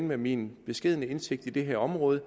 med min beskedne indsigt i det her område